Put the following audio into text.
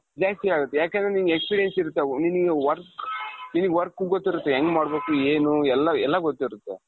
ಜಾಸ್ತಿ ಆಗುತ್ತೆ ಯಾಕಂದ್ರೆ ನಿಂಗೆ experience ಇರುತ್ತೆ ಈ ನಿನ್ನ work ನಿನಗೆ work ಗೊತ್ತಿರುತ್ತೆ ಹೆಂಗ್ ಮಾಡ್ಬೇಕು ಏನು ಎಲ್ಲಾ, ಎಲ್ಲಾ ಗೊತ್ತಿರುತ್ತೆ .